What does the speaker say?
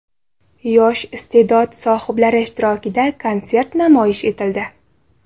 Yosh iste’dod sohiblari ishtirokida konsert namoyish etildi.